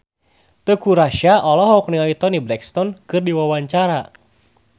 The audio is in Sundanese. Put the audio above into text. Teuku Rassya olohok ningali Toni Brexton keur diwawancara